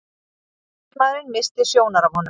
Samstarfsmaðurinn missti sjónar af honum.